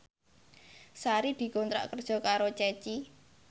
Sari dikontrak kerja karo Ceci